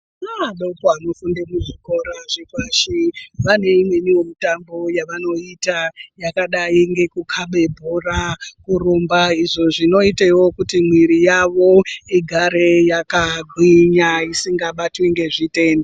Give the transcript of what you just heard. Ana adoko anofunda kuzvikora zvepashi vaneimweni mitambo yavanotamba yakadai ngekukhaba bhora, kurumba izvo zvinoitewo kuti mwiri yawo igare yakagwinya isingabatwi ngezvitenda.